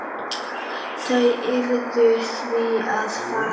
Þau urðu því að fara.